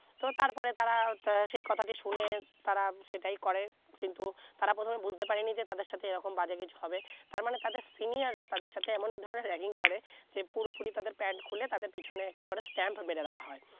তবে তার পরে তারা সেই কথা টি শুনে তারা সেটাই করে কিন্তু তারা প্রথমে বুঝতে পারে নি তাদের সাথে এই রকম বাজে কিছু হবে তার মানে তাদের senior রা তাদের সাথে এমন ধরনের ragging করে সে পুরো পুরি তাদের প্যান্ট খুলে তাদের পিছনে একটি করে stamp মেরে দেওয়া হয়